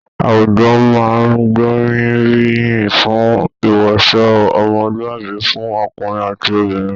Àwùjọ máa n gboriyin fún iwọṣọ ọmọluabi fún ọkùnrin àti obìnrin.